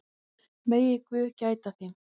Megi guð gæta þín.